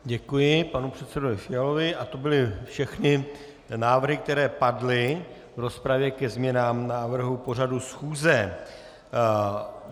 Děkuji panu předsedovi Fialovi a to byly všechny návrhy, které padly v rozpravě ke změnám návrhu pořadu schůze.